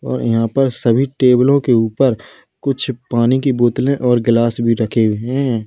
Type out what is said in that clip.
और यहां पर सभी टेबलों के ऊपर कुछ पानी की बोतलें और गिलास भी रखे हुए हैं।